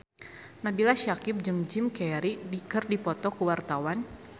Nabila Syakieb jeung Jim Carey keur dipoto ku wartawan